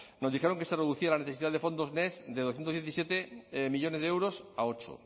nos dijeron que se reducía la necesidad de fondos next de doscientos diecisiete millónes de euros a ocho